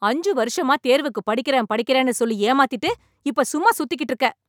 அஞ்சு வருஷமா தேர்வுக்கு படிக்கிறேன் படிக்கிறேனு சொல்லி ஏமாத்திட்டு , இப்ப சும்மா சுத்திகிட்டு இருக்க ?